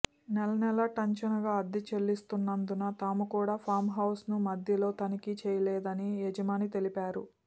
నెల నెల టంచనుగా అద్దె చెల్లిస్తున్నందున తాము కూడా ఫామ్హౌజ్ను మధ్యలో తనిఖీ చేసుకోలేదని యజమాని తెలిపారు